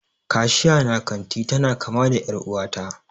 Kashiya na kanti tana kama da er'uwa ta.